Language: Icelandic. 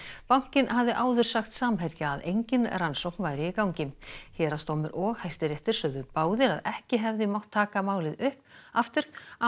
bankinn hafði áður sagt Samherja að engin rannsókn væri í gangi héraðsdómur og Hæstiréttur sögðu báðir að ekki hefði mátt taka málið upp aftur án